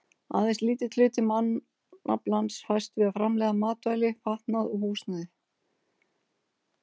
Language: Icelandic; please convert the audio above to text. Aðeins lítill hluti mannaflans fæst við að framleiða matvæli, fatnað og húsnæði.